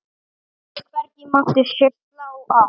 Hvergi mátti slá af.